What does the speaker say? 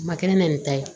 A ma kɛ ne nɛni ta ye